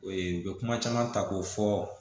u bɛ kuma caman ta k'o fɔ